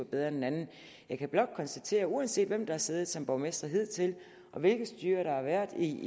bedre end den anden jeg kan blot konstatere at uanset hvem der har siddet som borgmester hidtil og hvilket styre der har været i